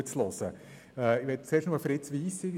Ich möchte zuerst auf das Votum von Fritz Wyss eingehen.